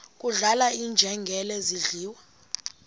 kudlala iinjengele zidliwa